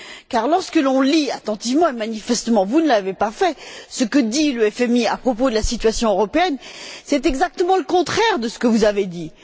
Car, lorsqu'on lit attentivement manifestement, vous ne l'avez pas fait ce que dit le FMI à propos de la situation européenne, c'est exactement le contraire de ce que vous avez dit.